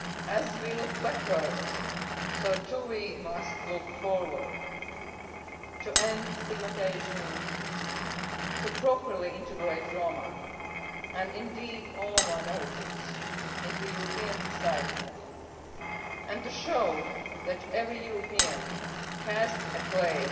as we look back, so too must we look forward to ending stigmatisation, to properly integrating Roma and indeed all minorities into European society and to showing that every European has a place